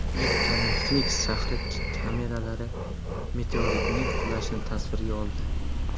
Amerikaning Finiks shahri kameralari meteoritning qulashini tasvirga oldi.